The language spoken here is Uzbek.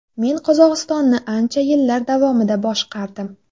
Men Qozog‘istonni ancha yillar davomida boshqardim.